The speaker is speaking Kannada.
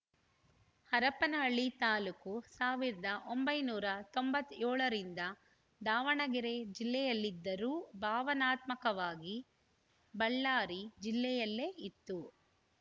ಹರಪನಹಳ್ಳಿ ತಾಲೂಕು ಸಾವಿರದ ಒಂಬೈನೂರ ತೊಂಬತ್ತ್ ಏಳರಿಂದ ದಾವಣಗೆರೆ ಜಿಲ್ಲೆಯಲ್ಲಿದ್ದರೂ ಭಾವನಾತ್ಮಕವಾಗಿ ಬಳ್ಳಾರಿ ಜಿಲ್ಲೆಯಲ್ಲೆ ಇತ್ತು